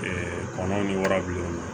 kɔnɔ ɲi warabilen do